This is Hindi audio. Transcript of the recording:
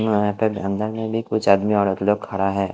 और यहां पे अंदर में भी कुछ आदमी औरत लोग खड़ा है।